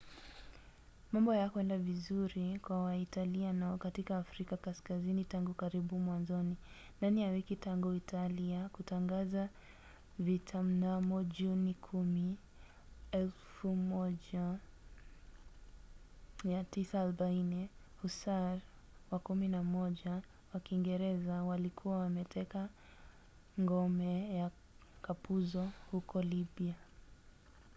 mambo hayakwenda vizuri kwa waitaliano katika afrika kaskazini tangu karibu mwanzoni. ndani ya wiki tangu italia kutangaza vita mnamo juni 10 1940 hussar wa 11 wa kiingereza walikuwa wameteka ngome ya kapuzo huko libya